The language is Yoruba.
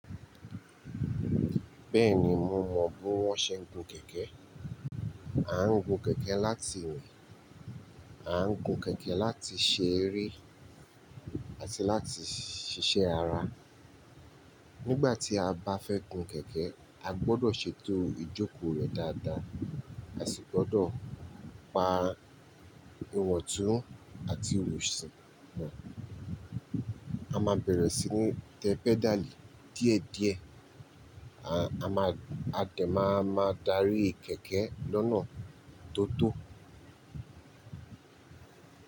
Bẹ́ẹ̀ni, mo mọ bí wọ́n ṣe ń gun kẹ̀kẹ́. A ń gun kẹ̀kẹ́ láti rin, a ń gun kẹ̀kẹ́ láti ṣeré àti láti ṣiṣẹ́ ara. Nígbà tí a bá fẹ́ gun kẹ̀kẹ́, a gbọdọ̀ ṣètò ìjòkó rẹ̀ dáadáa àsi gbọdọ̀ pa ìwọ̀ntún àti òrù ṣìn wọn. A máa bẹ̀rẹ̀ sí ní tẹ pẹ́dalì díẹ̀díẹ̀. A máa, a dẹ̀ máa ma dárí kẹ̀kẹ́ lọ́nà tó tó.